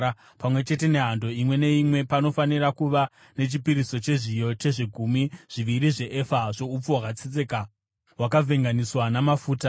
Pamwe chete nehando imwe neimwe, panofanira kuva nechipiriso chezviyo chezvegumi zviviri zveefa yeupfu hwakatsetseka, hwakavhenganiswa namafuta;